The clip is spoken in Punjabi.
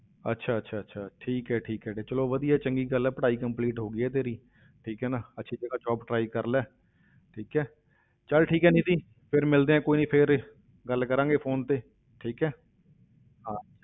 ਅੱਛਾ ਅੱਛਾ ਅੱਛਾ ਠੀਕ ਹੈ ਠੀਕ ਹੈ ਤੇ ਚਲੋ ਵਧੀਆ ਚੰਗੀ ਗੱਲ ਹੈ ਪੜ੍ਹਾਈ complete ਹੋ ਗਈ ਹੈ ਤੇਰੀ ਠੀਕ ਹੈ ਨਾ ਅੱਛੀ ਜਗ੍ਹਾ job try ਕਰ ਲੈ ਠੀਕ ਹੈ ਚੱਲ ਠੀਕ ਹੈ ਨਿੱਧੀ ਫਿਰ ਮਿਲਦੇ ਹਾਂ, ਕੋਈ ਨੀ ਫਿਰ ਗੱਲ ਕਰਾਂਗੇ phone ਤੇ, ਠੀਕ ਹੈ, ਹਾਂ